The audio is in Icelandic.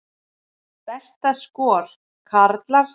Besta skor, karlar